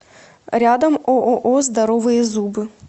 рядом ооо здоровые зубы